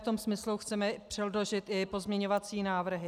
V tom smyslu chceme předložit i pozměňovací návrhy.